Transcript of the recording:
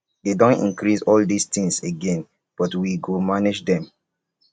they don increase all dis things again but we go manage dem